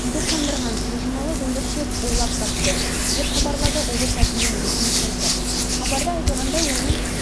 үйді қондырған жылжымалы дүңгіршек ойлап тапты деп хабарлады облыс әкімінің ресми сайты хабарда айтылғандай оны